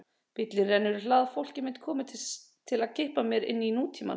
Bíllinn rennur í hlað, fólkið mitt komið til að kippa mér inn í nútímann.